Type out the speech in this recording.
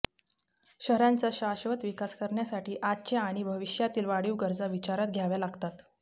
शहरांचा शाश्वत विकास करण्यासाठी आजच्या आणि भविष्यातील वाढीव गरजा विचारात घ्याव्या लागतात